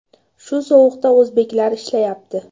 Shu sovuqda o‘zbeklar ishlayapti.